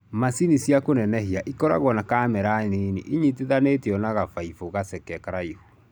macini ya kũnenehia ĩkoragwo na camera nĩnĩ ĩnyitithanĩtio na gabaibũ gaceke karaihu.